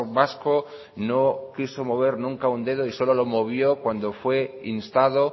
vasco no quiso mover nunca un dedo y solo lo movió cuando fue instado